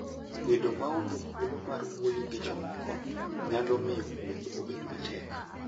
Bedo maonge thuolo mar wuoyo gi jomoko nyalo miyo wuoth obed matek.